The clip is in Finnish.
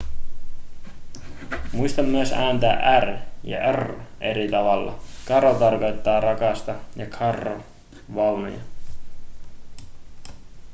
muista myös ääntää r ja rr eri tavalla caro tarkoittaa rakasta carro vaunuja